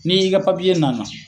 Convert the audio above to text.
Ni i ka na na.